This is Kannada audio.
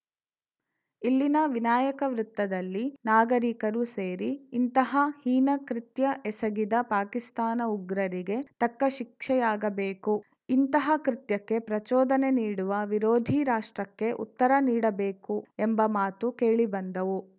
ಇಲ್ಲಿನ ವಿನಾಯಕ ವೃತ್ತದಲ್ಲಿ ನಾಗರೀಕರು ಸೇರಿ ಇಂತಹ ಹೀನಕೃತ್ಯ ಎಸಗಿದ ಪಾಕಿಸ್ತಾನದ ಉಗ್ರರಿಗೆ ತಕ್ಕ ಶಿಕ್ಷೆಯಾಗಬೇಕುಇಂತಹ ಕೃತ್ಯಕ್ಕೆ ಪ್ರಚೋದನೆ ನೀಡುವ ವಿರೋಧಿ ರಾಷ್ಟ್ರಕ್ಕೆ ಉತ್ತರ ನೀಡಬೇಕು ಎಂಬ ಮಾತು ಕೇಳಿ ಬಂದವು